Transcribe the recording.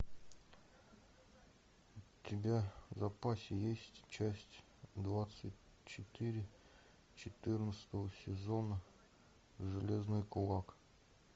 у тебя в запасе есть часть двадцать четыре четырнадцатого сезона железный кулак